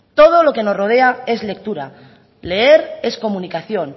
todo lo que nos rodea es lectura leer es comunicación